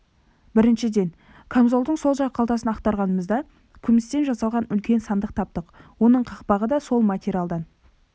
біріншіден камзолдың сол жақ қалтасын ақтарғанымызда күмістен жасалған үлкен сандық таптық оның қақпағы да сол материалдан